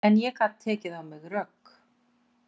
En ég gat tekið á mig rögg.